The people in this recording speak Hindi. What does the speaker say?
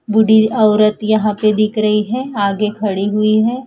बूढी औरत यहां पे दिख रही है आगे खड़ी हुई है।